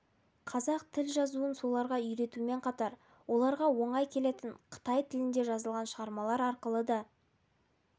қазақ тіл жазуын соларға үйретумен қатар оларға оңай келетін қытай тілінде жазылған шығармалар арқылы да